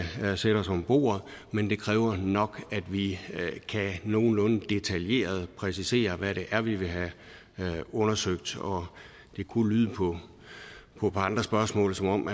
sætte os om bordet men det kræver nok at vi nogenlunde detaljeret præcisere hvad det er vi vil have undersøgt det kunne lyde på andre spørgsmål som om